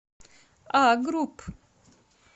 а групп